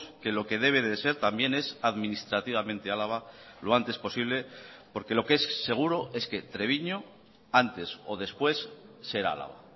que lo que debe de ser también es administrativamente álava lo antes posible porque lo que es seguro es que treviño antes o después será álava